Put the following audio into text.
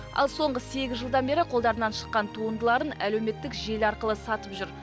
ал соңғы сегіз жылдан бері қолдарынан шыққан туындыларын әлеуметтік желі арқылы сатып жүр